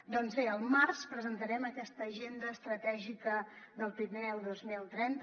doncs bé al març presentarem aquesta agenda estratègica del pirineu dos mil trenta